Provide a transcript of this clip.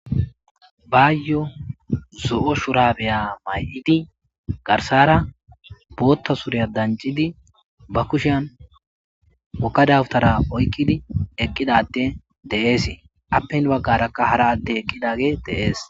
baayyo zo7o shurabeya may7idi garsara bootta sureya dancidi ba kushean wokadawtara oykkidi eqqidatte de7eese appen baggarakka hara atte eqqidage deees